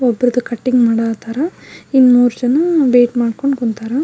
ಒಬ್ಬರದು cutting ಮಾಡ ಹತಾರ ಇನ್ ಮೂರ್ ಜನ ವೇಟ್ ಮಾಡ್ಕೊಂಡ್ ಕುಣತರ.